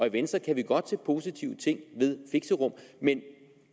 i venstre kan vi godt se positive ting ved fixerum men